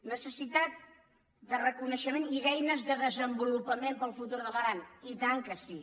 necessitat de reconeixement i d’eines de desenvolupament per al futur de l’aran i tant que sí